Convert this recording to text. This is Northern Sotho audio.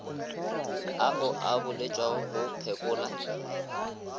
ao a boletšwego go phekola